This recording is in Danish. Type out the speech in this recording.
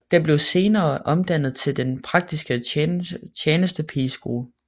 Den blev senere omdannet til Den Praktiske Tjenestepigeskole